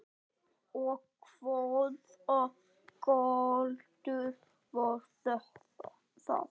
Og hvaða galdur var það?